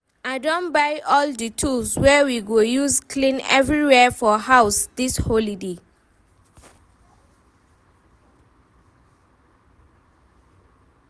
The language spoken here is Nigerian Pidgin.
I don buy all the tools wey we go use clean everywhere for house dis holiday.